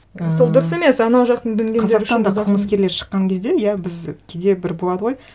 і сол дұрыс емес анау жақтың дүнгендері үшін қазақтан да қылмыскерлер шыққан кезде иә біз кейде бір болады ғой